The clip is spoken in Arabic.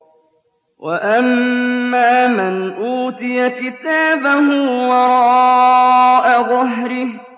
وَأَمَّا مَنْ أُوتِيَ كِتَابَهُ وَرَاءَ ظَهْرِهِ